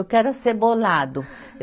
Eu quero acebolado.